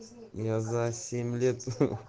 я за семь лет